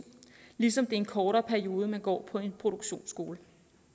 ligesom i en kortere periode man går på en produktionsskole